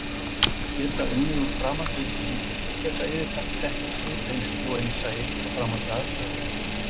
Geta unnið úr framandi upplýsingum og geta yfirfært þekkingu, reynslu og innsæi á framandi aðstæður.